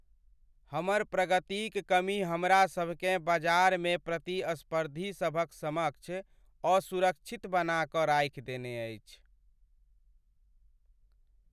हमर प्रगतिक कमी हमरासभकेँ बजारमे प्रतिस्पर्धीसभक समक्ष असुरक्षित बना कऽ राखि देने अछि।